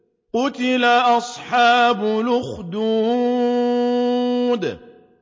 قُتِلَ أَصْحَابُ الْأُخْدُودِ